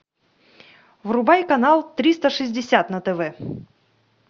врубай канал триста шестьдесят на тв